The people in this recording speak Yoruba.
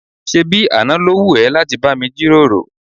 ṣébi àná ló wù ẹ́ láti bá mi jíròrò?